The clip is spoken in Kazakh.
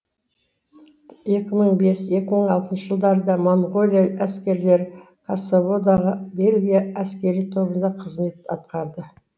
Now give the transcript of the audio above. екі мың бес екі мың алтыншы жылдарда моңғолия әскерлері косоводағы бельгия әскери тобында қызмет атқарды